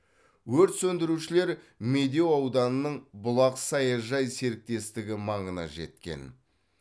өрт сөндірушілер медеу ауданының бұлақ саяжай серіктестігі маңына жеткен